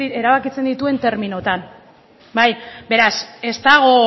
erabakitzen dituen terminoetan bai beraz ez dago